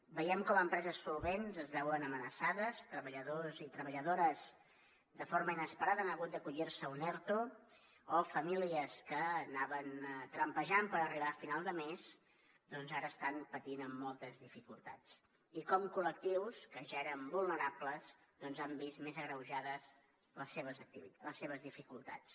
veiem com empreses solvents es veuen amenaçades treballadors i treballadores de forma inesperada han hagut d’acollir se a un erto o famílies que anaven trampejant per arribar a final de mes doncs ara estan patint amb moltes dificultats i com col·lectius que ja eren vulnerables doncs han vist més agreujades les seves dificultats